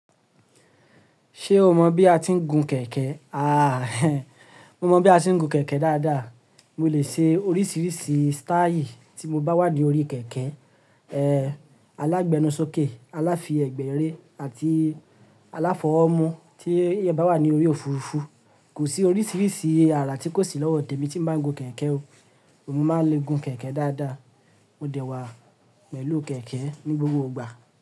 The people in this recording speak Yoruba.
Ṣé o mọ̀ bí a ti ń gun kẹ̀kẹ́? A, mo mọ bí a ti ń gun kẹ̀kẹ́ dáadáa. Mo lè ṣe oríṣiríṣi style tí mo bá wà ní orí kẹ̀kẹ́. Eh, alágbénusókè, àlàáfì ẹgbẹ̀rẹ, àti aláfọwọ́ mu tí ẹ̀eyan bá wà ní orí òfurufú. Kò sí oríṣiríṣi àrà tí kò sí lọ́wọ́ tèmi tí n bá ń gun kẹ̀kẹ́ o. Mo máa ń lé gun kẹ̀kẹ́ dáadáa. Mo dẹ́ wa pẹ̀lú kẹ̀kẹ́ ní gbogbo ìgbà.